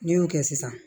N'i y'o kɛ sisan